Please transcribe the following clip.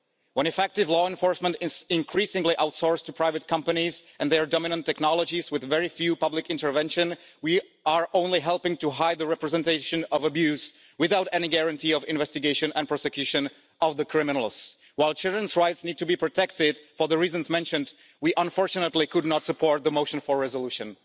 When effective law enforcement is increasingly outsourced to private companies and their dominant technologies with very little public intervention, we are only helping to hide the representation of abuse without any guarantee of investigation and prosecution of criminals. While children's rights need to be protected for the reasons mentioned, we unfortunately could not support the motion for a resolution.